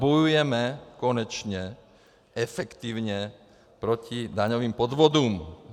Bojujeme konečně efektivně proti daňovým podvodům.